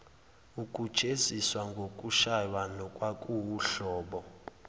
ukujeziswa ngokushaywa nokwakuwuhlobo